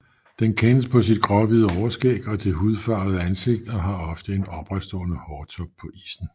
Den kendes på sit gråhvide overskæg og det hudfarvede ansigt og har ofte en opretstående hårtop på issen